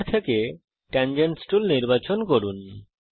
টুল bar থেকে tangents tool নির্বাচন করুন